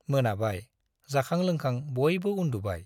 मोनाबाय, जाखां लोंखां बयबो उन्दुबाय।